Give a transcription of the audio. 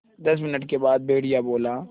दस मिनट के बाद भेड़िया बोला